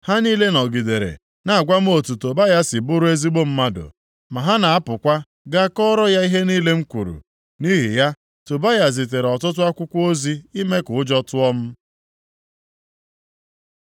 Ha niile nọgidere na-agwa m otu Tobaya si bụrụ ezigbo mmadụ. Ma ha na-apụkwa gaa kọọrọ ya ihe niile m kwuru. Nʼihi ya Tobaya zitere ọtụtụ akwụkwọ ozi ime ka ụjọ tụọ m.